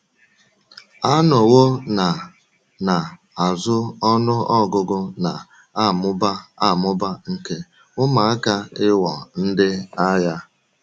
A nọwo na na - azụ ọnụ ọgụgụ na - amụba amụba nke ụmụaka ịghọ ndị agha.